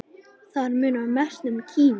Þar munar mest um Kína.